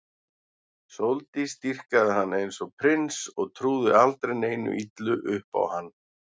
Sóldís dýrkaði hann eins og prins og trúði aldrei neinu illu upp á hann.